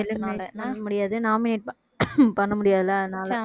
பண்ணமுடியாது nominate பண்ணமுடியாதுல்லை